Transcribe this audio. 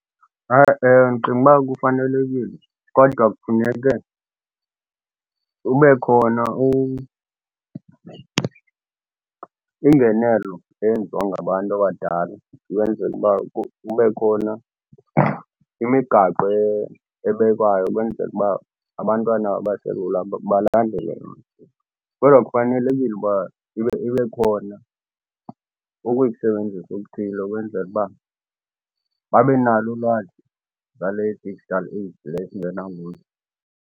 Ndicinga uba kufanelekile kodwa kufuneke ube khona ingenelo eyenziwa ngabantu abadala ukwenzela uba kube khona imigaqo ebekwayo ukwenzele uba abantwana abaselula balandele yona. Kodwa kufanelekile uba ibe khona ukuyisebenzisa okuthile ukwenzela uba babe nalo ulwazi ngale digital age le esingena kuyo.